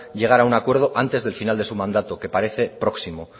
llegar a un acuerdo antes del final de su mandato que parece próximo